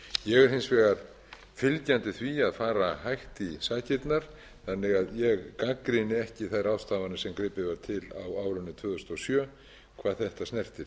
ég er hins vegar fylgjandi því að fara hægt í sakirnar þannig að ég gagnrýni ekki þær ráðstafanir sem gripið var til á árinu tvö þúsund og sjö hvað þetta snertir